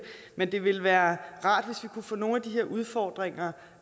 men det ville være rart hvis vi kunne få nogle af de her udfordringer